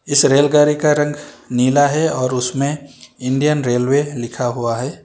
इस रेलगाड़ी का रंग नीला है और उसमें इंडियन रेलवे लिखा हुआ है।